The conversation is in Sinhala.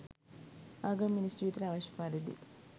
ආගම මිනිස් ජීවිතයට අවශ්‍ය පරිදි